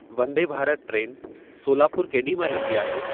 Vande Bharat train Solapur केॾी महिल ईंदी आहे